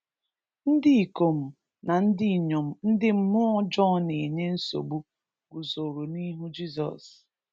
Ndị ikom na ndị inyom ndị mmụọ ọjọọ na-enye nsogbu guzoro n’ihu Jizọs.